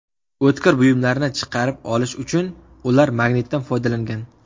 O‘tkir buyumlarni chiqarib olish uchun ular magnitdan foydalangan.